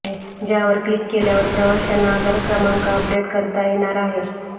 ज्यावर क्लिक केल्यावर प्रवाशांना आधार क्रमांक अपडेट करता येणार आहे